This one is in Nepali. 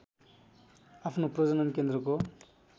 आफ्नो प्रजनन केन्द्रको